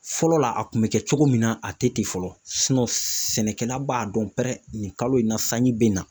Fɔlɔ la a kun bɛ kɛ cogo min na ,a tɛ ten fɔlɔ sɛnɛkɛla b'a dɔn pɛrɛn nin kalo in na sanji bɛ na.